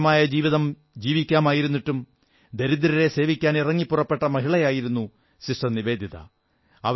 സുഖകരമായ ജീവിതം ജീവിക്കാമായിരുന്നിട്ടും ദരിദ്രരെ സേവിക്കാൻ ഇറങ്ങി പുറപ്പെട്ട മഹിളയായിരുന്ന സിസ്റ്റർ നിവേദിത